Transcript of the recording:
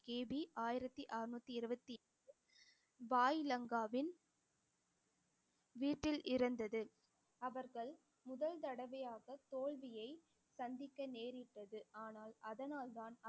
கிபி ஆயிரத்தி அறுநூத்தி இருபத்தி பாய் லங்காவின் வீட்டில் அவர்கள் முதல் தடவையாக தோல்வியை சந்திக்க நேரிட்டது ஆனால் அதனால்தான்